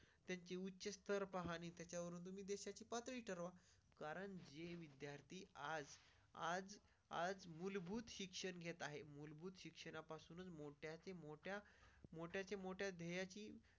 त्याची उच्च स्टार पाहा ने त्याच्यावर तुम्ही देशाची पाचवी ठरवा. कारण आज आज आज मूलभूत शिक्षण घेत आहे. मूलभूत शिक्षणापासूनच मोठ्या मोठ्यामोठ्याचे मोठे याची.